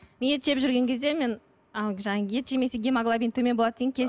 мен ет жеп жүрген кезде мен ет жемесе гемоглобин төмен болады дегенге